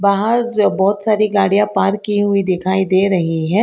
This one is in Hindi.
बाहर जो बहोत सारी गाड़िया पार्क की हुई दिखाई दे रही हैं।